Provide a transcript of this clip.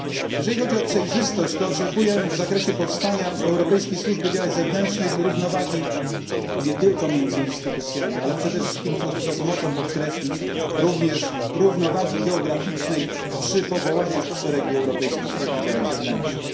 Jeżeli chodzi o przejrzystość to oczekuję w zakresie powstania Europejskiej Służby Działań Zewnętrznych równowagi nie tylko między instytucjami, ale przede wszystkim, co chcę z mocą podkreślić, również równowagi geograficznej przy powołaniach w szeregi Europejskiej Służby Działań Zewnętrznych.